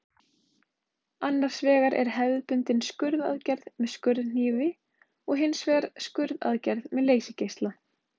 Annars vegar er hefðbundin skurðaðgerð með skurðhnífi og hins vegar skurðaðgerð með leysigeisla.